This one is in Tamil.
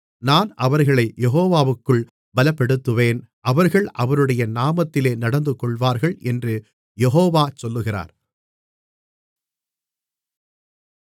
நான் அவர்களைக் யெகோவாவுக்குள் பலப்படுத்துவேன் அவர்கள் அவருடைய நாமத்திலே நடந்துகொள்ளுவார்கள் என்று யெகோவா சொல்லுகிறார்